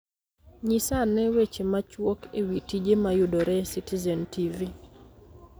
Nyisa ane weche machuok e wi tije mayudore e Citizen t. v.